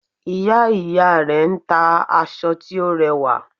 Ìya ìya rè n ta aṣọ tí ó rẹwà